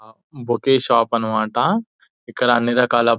bouquet shop అన్నమాట.ఇక్కడ అన్ని రకాల పువ్వులు--